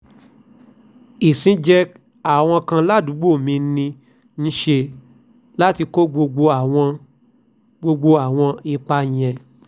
ìsìnjẹ àwọn kan ládùúgbò ni mò ń ṣe láti kó gbogbo àwọn gbogbo àwọn ipa yẹn